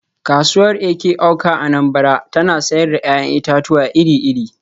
“Kasuwar Eke-Awka (Anambra) tana sayar da ‘ya’yan itatuwa iri-iri.